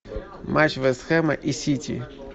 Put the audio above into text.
матч вест хэма и сити